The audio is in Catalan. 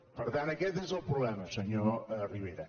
per tant aquest és el problema senyor rivera